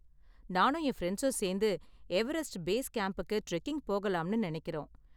நானும் என் ஃபிரண்ட்ஸும் சேந்து எவரெஸ்ட் பேஸ் கேம்புக்கு டிரெக்கிங் போகலாம்னு நினைக்கிறோம்.